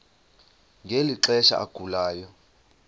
ngeli xesha agulayo